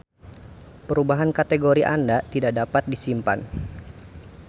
Perubahan kategori Anda tidak dapat disimpan.